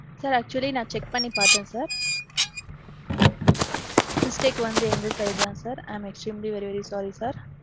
sir, actually நான் check பன்னி பாத்தேன் sir. mistake வந்து எங்க side தான் sir. i am extremely really sorry sir.